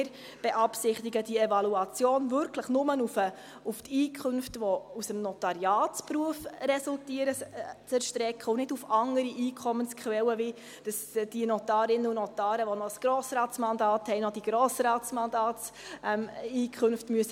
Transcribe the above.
Wir beabsichtigen, diese Evaluation wirklich nur auf die aus dem Notariatsberuf resultierenden Einkünfte zu erstrecken und nicht auf andere Einkommensquellen wie, dass die Notarinnen und Notare, die noch ein Grossratsmandat haben, noch die Grossratseinkünfte deklarieren müssen.